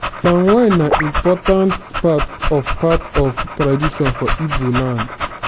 palm wine na important part of part of tradition for ibo land.